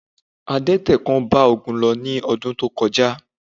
Adẹ́tẹ̀ kan bá Ogun lọ ní ọdún tó kọjá